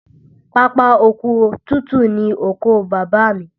Pápá oko tútù ni oko Bàbá mi